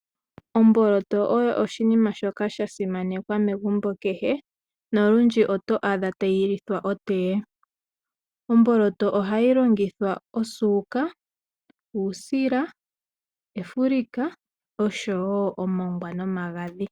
Omboloto oyo oshinima shoka shasimanekwa megumbo kehe nolundji oto adha tayi lithwa otee. Omboloto ohayi longithwa osuuka, uusila, efulika osho wo omongwa nomagadhi.